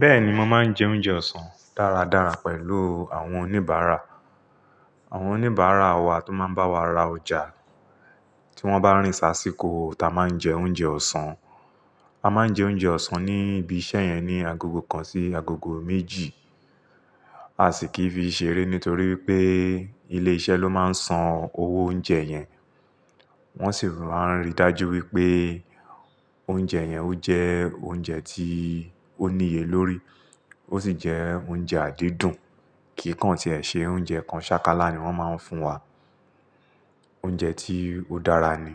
Bẹ́ẹ̀ni, mo máa ń jẹ oúnjẹ ọ̀sán dáradára pẹ̀lú àwọn oníbàárà. Àwọn oníbàárà wá tó máa ń bá wa rà ọjà, tí wọ́n bá rìn sá síkò táa máa ń jẹ oúnjẹ ọ̀sán. A máa ń jẹ oúnjẹ ọ̀sán ní ibi iṣẹ́ yẹn ní agogo kan sí agogo méjì. A sì kì fi ṣeré nítorí pé ilé-iṣẹ́ ló máa ń san owó oúnjẹ yẹn. Wọ́n sì máa ń rí dájú wípé oúnjẹ yẹn ó jẹ oúnjẹ tí ó níye lórí ó sì jẹ́ oúnjẹ àdídùn. Kìkan tí ẹ ṣe, oúnjẹ kan ṣákálá ni wọ́n máa ń fún wa. Oúnjẹ tí ó dára ni.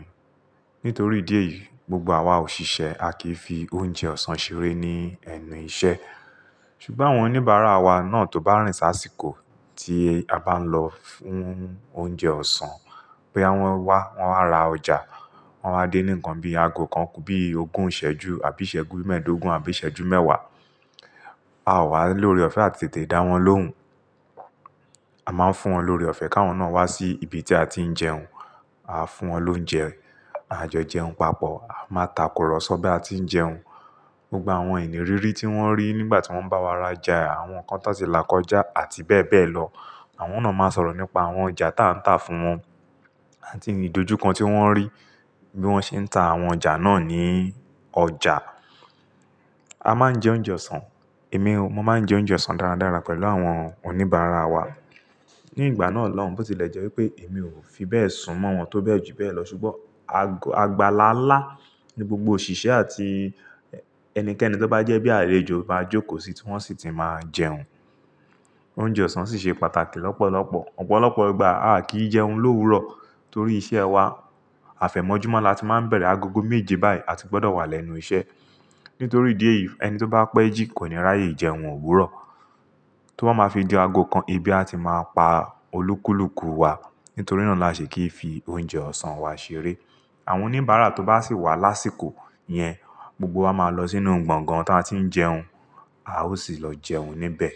Nítorí ìdí èyí, gbogbo àwa òṣìṣẹ́ a kì í fi oúnjẹ ọ̀sán ṣeré ní ẹnu iṣẹ́. Ṣùgbọ́n àwọn oníbàárà wa náà tó bá rìn sá síkò tí a bá ń lọ fún oúnjẹ ọ̀sán boyà wọn wà, wọ́n wá rà ọjà, wọ́n wáa dé ní nǹkan bí i ago kan kù bíi ogún ìṣẹ́jú àbí ìṣẹ́jú mẹ́ẹ̀ẹ́dógún àbí ìṣẹ́jú mẹ́wàá. A wá lóre ọ̀fẹ́ àti tètè dá wọn lóhùn. A máa ń fún wọn lóre ọ̀fẹ́ ká wọn náà wá sí ibi tí a ti ń jẹun. A fún wọn lóúnjẹ, àjọ jẹun papọ̀, a máa takùrọ̀sọ bí a ti ń jẹun. Gbogbo àwọn ìnìrírí tí wọ́n rí nígbà tí wọ́n bá wa rajà, àwọn n kan tàn ti là kọjá àti bẹ́ẹ̀ bẹ́ẹ̀ lọ. Àwọn náà máa sọ̀rọ̀ nípa àwọn ọjà táa ń tà fún wọn àti ìdojúkan tí wọ́n rí bí wọ́n ṣe ń ta àwọn ọjà náà ní ọjà. A máa ń jẹ oúnjẹ ọ̀sán. Èmi, mo máa ń jẹ oúnjẹ ọ̀sán dáradára pẹ̀lú àwọn oníbàárà wa. Ní ìgbà náà lọ́hun bó ti lẹ̀ jẹ́ wípé èmi ò fi bẹ́ẹ̀ sún mọ́ wọn tó bẹ́ẹ̀ jù bẹ́ẹ̀ lọ. Ṣùgbọ́n agba-lálá ni gbogbo òṣìṣẹ́ àti ẹnikẹ́ni tó bá jẹ́ bí àlejò bá jókòó síi tí wọ́n sì ti máa jẹun. Oúnjẹ ọ̀sán sì ṣe pàtàkì lọ́pọ̀lọpọ̀. Ọ̀pọ̀lọpọ̀ ìgbà a kì í jẹun lówurọ̀ torí iṣẹ́ wa. Àfẹ̀mọ́júmọ́ la ti máa ń bẹ̀rẹ̀ agogo méje báyìí, a ti gbọdọ̀ wà lẹ́nu iṣẹ́. Nítorí ìdí èyí ẹni tó bá pẹ́ jí kò ní ráyè jẹun òwúrọ̀. Tó bá máa fi di ago kan ebi a ti máa pa olúkúlùkù wa. Nítorí náà la ṣe kì í fi oúnjẹ ọ̀sán wa ṣeré. Àwọn oníbàárà tó bá sì wá lásìkò yẹn, gbogbo wa máa lọ sínú gbọ̀ngán tí a ti ń jẹun, a ó sì lọ jẹun níbẹ̀.